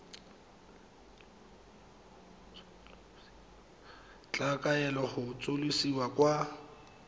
tla kaelwa go tsosolosiwa kwa